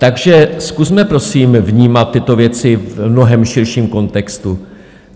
Takže zkusme prosím vnímat tyto věci v mnohem širším kontextu.